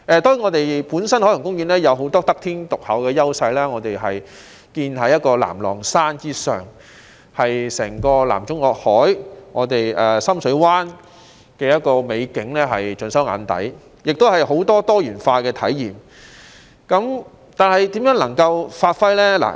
當然，海洋公園本身有很多得天獨厚的優勢，它建於南朗山之上，將整個南中國海、深水灣的美景盡收眼底，亦提供許多多元化的體驗，但可以怎樣發揮呢？